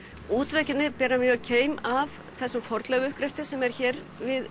útveggirnir bera mjög keim af þessum fornleifauppgreftri sem er hér við